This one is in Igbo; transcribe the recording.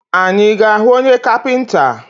Anyị ga ahụ onye kapinta?